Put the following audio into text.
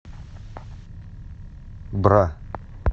бра